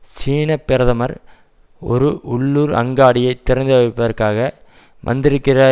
சீனப்பிரதமர் ஒரு உள்ளூர் அங்காடியை திறந்துவைப்பதற்காக வந்திருக்கிறார்